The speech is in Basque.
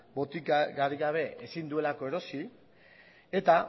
botikarik gabe ezin duelako erosi eta